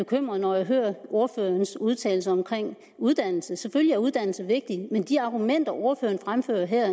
bekymret når jeg hører ordførerens udtalelse omkring uddannelse selvfølgelig er uddannelse vigtigt men de argumenter ordføreren fremfører her